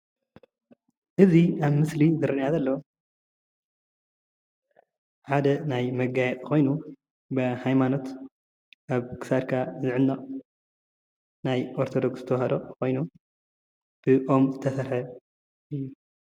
እዚ አብ ምስሊ ዝረአየና ዘሎ ሓደ ናይ መጋየፂ ኮይኑ ብሃይማኖት ኣብ ክሳድካ ዝዕነቅ ናይ ኦርተዶክስ ተዋህዶ ኮይኑ ብኦም ዝተሰርሐ እዩ፡፡